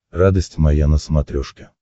радость моя на смотрешке